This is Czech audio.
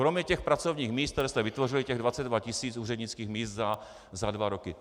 Kromě těch pracovních míst, která jste vytvořili, těch 22 tis. úřednických míst za dva roky.